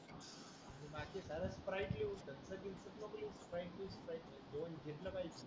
sprite leave Thums Up विम्पास नको leave Sprite leave Sprite घेतलं पाहिजे